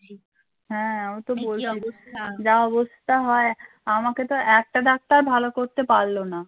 যা হয় আমাকে তো একটা doctor ভালো করতে পারলো না